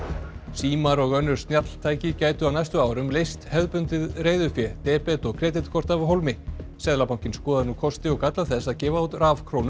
símar og önnur snjalltæki gætu á næstu árum leyst hefðbundið reiðufé debet og kreditkort af hólmi seðlabankinn skoðar nú kosti og galla þess að gefa út